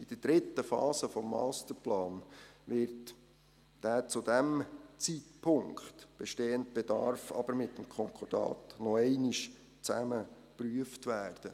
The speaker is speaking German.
In der dritten Phase des Masterplans wird der zu diesem Zeitpunkt bestehende Bedarf aber noch einmal zusammen mit dem Konkordat geprüft werden.